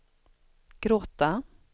gråta